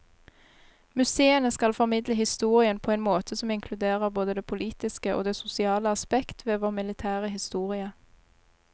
Museene skal formidle historien på en måte som inkluderer både det politiske og det sosiale aspekt ved vår militære historie.